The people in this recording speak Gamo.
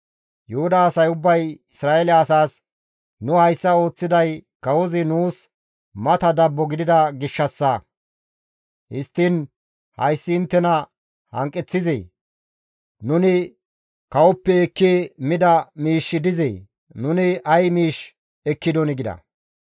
Yuhuda asay ubbay Isra7eele asaas, «Nu hayssa ooththiday kawozi nuus mata dabbo gidida gishshassa; histtiin hayssi inttena hanqeththizee? Nuni kawoppe ekki mida miishshi dizee? Nuni ay miish ekkidonii?» gida.